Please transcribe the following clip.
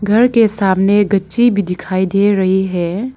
घर के सामने गच्छी भी दिखाई दे रही है।